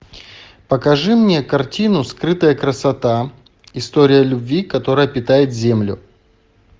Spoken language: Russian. покажи мне картину скрытая красота история любви которая питает землю